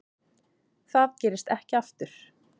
Það gerist ekki aftur.